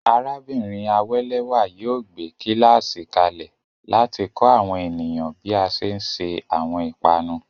Arábìnrin Awelewa yóò gbé kíláàsì kalẹ̀ láti kọ́ àwọn ènìyàn bí a ṣe ń se àwọn ìpanu.